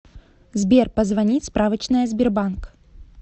сбер позвонить справочная сбербанк